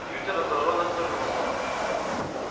кьюти раздражённо отвернулся